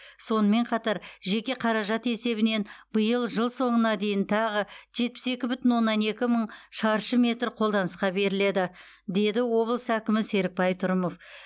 сонымен қатар жеке қаражат есебінен биыл жыл соңына дейін тағы жетпіс екі бүтін оннан екі мың шаршы метр қолданысқа беріледі деді облыс әкімі серікбай трұмов